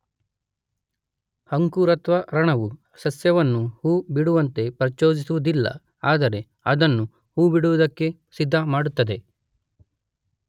ಅಂಕುರತ್ವರಣವು ಸಸ್ಯವನ್ನು ಹೂ ಬಿಡುವಂತೆ ಪ್ರಚೋದಿಸುವುದಿಲ್ಲ, ಆದರೆ ಅದನ್ನು ಹೂ ಬಿಡುವುದಕ್ಕೆ ಸಿದ್ಧಮಾಡುತ್ತದೆ.